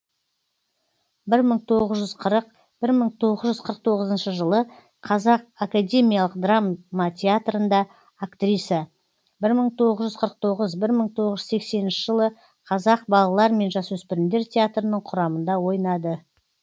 бір мың тоғыз жүз қырық бір мың тоғыз жүз қырық тоғызыншы жылы қазақ академиялық драма театрында актриса бір мың тоғыз жүз қырық тоғыз бір мың тоғыз жүз сексенінші жылы қазақ балалар мен жасөспірімдер театрының құрамында ойнады